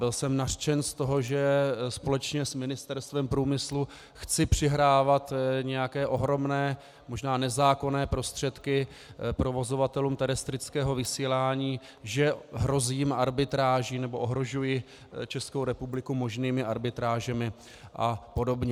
Byl jsem nařčen z toho, že společně s Ministerstvem průmyslu chci přihrávat nějaké ohromné, možná nezákonné prostředky provozovatelům terestrického vysílání, že hrozím arbitráží, nebo ohrožuji Českou republiku možnými arbitrážemi a podobně.